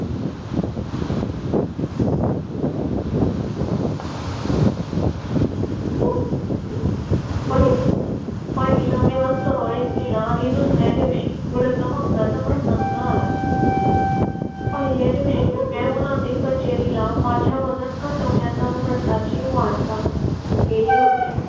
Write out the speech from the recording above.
पहिला दिवस सुरळीत गेला आणि दुसर् या दिवशी व्रत मगच प्रसंगात. पहिल्या दिवशी म्हणजे कचेरी ला माझ्या वजन घट वण्याचा व्रता ची वार्ता आली होती.